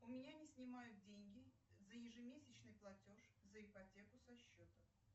у меня не снимают деньги за ежемесячный платеж за ипотеку со счета